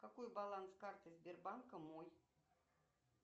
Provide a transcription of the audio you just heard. какой баланс карты сбербанка мой